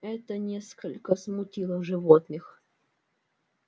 это несколько смутило животных